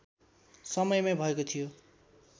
समयमै भएको थियो